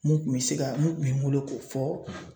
Mun kun mi se ka mun kun mi n bolo k"o fɔ